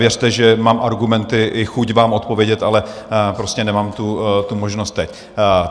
Věřte, že mám argumenty i chuť vám odpovědět, ale prostě nemám tu možnost teď.